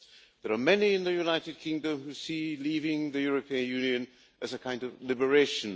There are many in the United Kingdom who see leaving the European Union as a kind of liberation.